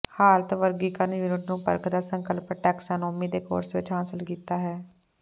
ਹਾਲਤ ਵਰਗੀਕਰਨ ਯੂਨਿਟ ਨੂੰ ਪਰਖਦਾ ਸੰਕਲਪ ਟੈਕਸਾਨੋਮੀ ਦੇ ਕੋਰਸ ਵਿੱਚ ਹਾਸਲ ਕੀਤਾ ਹੈ